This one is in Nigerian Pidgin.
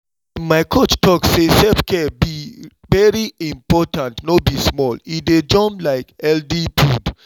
ehn my coach talk say self-care be very important no be small e dey jom like healthy food!